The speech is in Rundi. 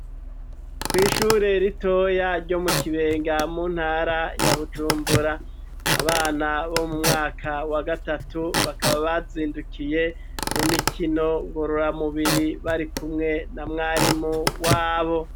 Kw'ishuri ritoyi ryo mu Kibenga mu ntara ya Bujumbura abana bo mu mwaka wa gatatu bakaba bazindukiye mu mikino ngorora mubiri bari kumwe na mwarimu wabo.